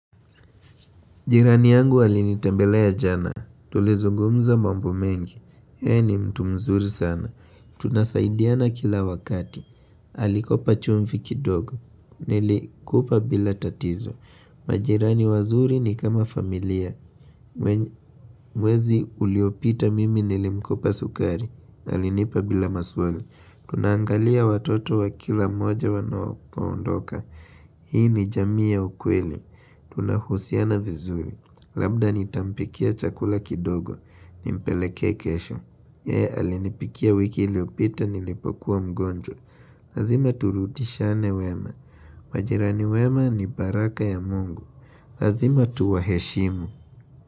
Jirani yangu alinitembelea jana. Tulizungumza mambo mengi. Yeye ni mtu mzuri sana. Tunasaidiana kila wakati. Alikopa chumvi kidogo. Nilikupa bila tatizo. Majirani wazuri ni kama familia. Mwezi uliopita mimi nilimkopa sukari. Alinipa bila maswali. Tunangalia watoto wa kila moja wanapoondoka. Hii ni jamii ya ukweli. Tunahusiana vizuri. Labda nitampikia chakula kidogo, nimpelekee kesho. Yee, alinipikia wiki iliopita nilipokuwa mgonjwa. Lazima turutishane wema. Majirani wema ni baraka ya mungu. Lazima tuwaheshimu.